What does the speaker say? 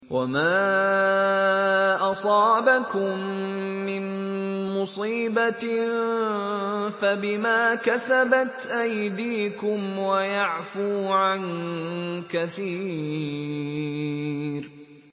وَمَا أَصَابَكُم مِّن مُّصِيبَةٍ فَبِمَا كَسَبَتْ أَيْدِيكُمْ وَيَعْفُو عَن كَثِيرٍ